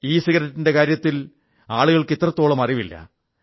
ഇസിഗരറ്റിന്റെ കാര്യത്തിൽ ആളുകൾക്ക് ഇത്രത്തോളം അറിവില്ല